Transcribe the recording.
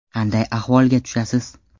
Qanday ahvolga tushasiz?